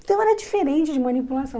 Então era diferente de manipulação.